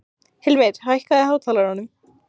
Hilmir, hækkaðu í hátalaranum.